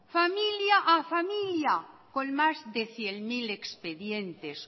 familia a familia con más de cien mil expedientes